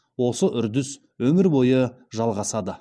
осы үрдіс өмір бойы жалғасады